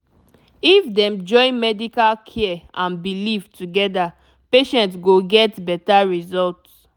if dem join medical care and belief together patient go get better result